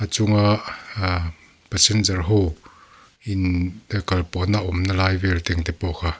chunga a passenger ho in kalpawhna awmna lai vel te ang te pawh kha--